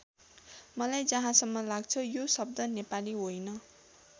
मलाई जहाँसम्म लाग्छ यो शब्द नेपाली होइन।